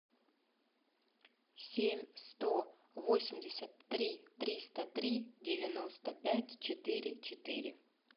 семь сто восемьдесят три триста три девяносто пять четыре четыре